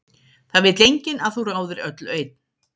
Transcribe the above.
Það vill enginn að þú ráðir öllu einn.